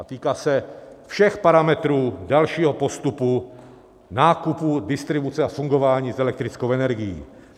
A týká se všech parametrů dalšího postupu - nákupu, distribuce a fungování s elektrickou energií.